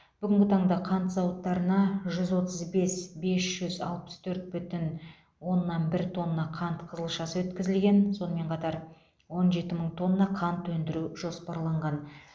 бүгінгі таңда қант зауыттарына жүз отыз бес бес жүз алпыс төрт бүтін оннан бір тонна қант қызылшасы өткізілген сонымен қатар он жеті мың тонна қант өндіру жоспарланған